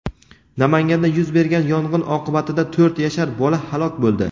Namanganda yuz bergan yong‘in oqibatida to‘rt yashar bola halok bo‘ldi.